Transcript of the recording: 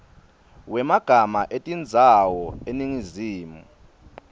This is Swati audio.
wemagama etindzawo eningizimu